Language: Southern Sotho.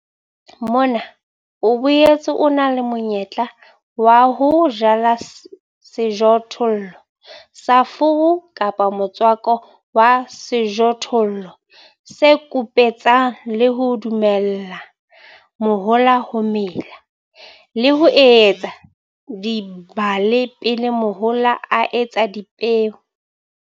Mona o boetse o na le monyetla wa ho jala sejothollo sa furu kapa motswako wa sejothollo se kupetsang le ho dumella mahola ho mela, le ho etsa dibale pele mahola a etsa dipeo.